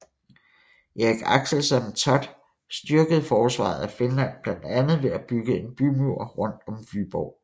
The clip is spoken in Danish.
Erik Axelsson Thott styrkede forsvaret af Finland blandt andet ved at bygge en bymur rundt om Vyborg